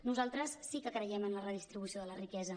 nosaltres sí que creiem en la redistribució de la riquesa